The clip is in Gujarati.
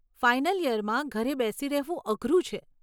ફાઇનલ ઈયરમાં ઘરે બેસી રહેવું અઘરું છે.